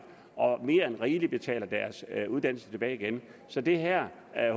og mere end rigeligt betaler deres uddannelse tilbage igen så det her er